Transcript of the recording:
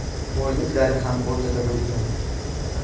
Boyliklari ham o‘rtada bo‘lgan.